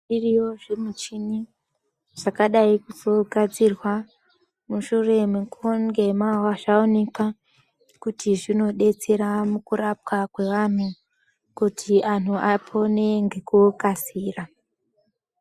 Zviriyo zvimuchini zvakadai kugadzirwa mushure mekunge zvaonekwa kuti zvinodetsera mukurapwa kwevanhu kuti antu apone nekukasira.